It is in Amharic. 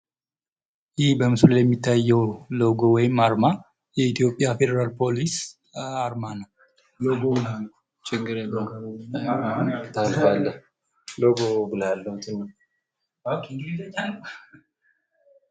ይህ በምስሉ ላይ የሚታየው ሎጎ ወይም አርማ የኢትዮጵያ ፌደራል ፖሊስ አርማ ነው። ሎጎ ነው ችግር የለውም ሎጎ ብለው ማለት ነው።